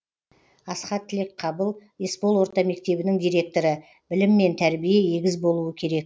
асхат тілекқабыл есбол орта мектебінің директоры білім мен тәрбие егіз болуы керек